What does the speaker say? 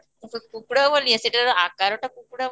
କୁକୁଡ଼ା ଭଳି ସେଇଟାତ ଆକାର କୁକୁଡ଼ା ଭଳି